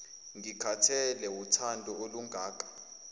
ngithathekile wuthando olungaka